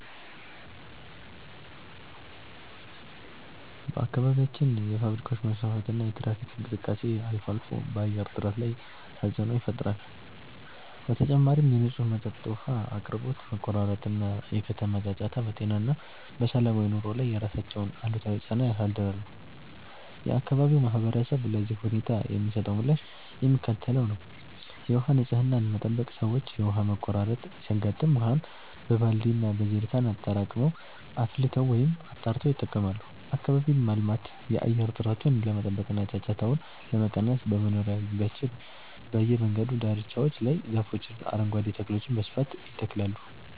በአካባቢያችን የፋብሪካዎች መስፋፋትና የትራፊክ እንቅስቃሴ አልፎ አልፎ በአየር ጥራት ላይ ተፅዕኖ ይፈጥራል። በተጨማሪም የንጹህ መጠጥ ውሃ አቅርቦት መቆራረጥ እና የከተማ ጫጫታ በጤና እና በሰላማዊ ኑሮ ላይ የራሳቸውን አሉታዊ ጫና ያሳድራሉ። የአካባቢው ማህበረሰብ ለዚህ ሁኔታ የሚሰጠው ምላሽ የሚከተለው ነው፦ የውሃ ንፅህናን መጠበቅ፦ ሰዎች የውሃ መቆራረጥ ሲያጋጥም ውሃን በባልዲ እና በጀሪካን አጠራቅመው፣ አፍልተው ወይም አጣርተው ይጠቀማሉ። አካባቢን ማልማት፦ የአየር ጥራቱን ለመጠበቅ እና ጫጫታውን ለመቀነስ በመኖሪያ ግቢዎችና በየመንገዱ ዳርቻዎች ላይ ዛፎችንና አረንጓዴ ተክሎችን በስፋት ይተክላሉ።